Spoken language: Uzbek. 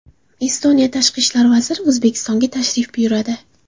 Estoniya tashqi ishlar vaziri O‘zbekistonga tashrif buyuradi.